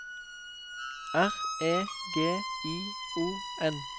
R E G I O N